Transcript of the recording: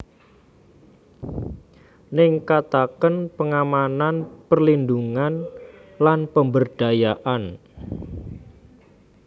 Ningkataken pengamanan perlindhungan lan pemberdayaan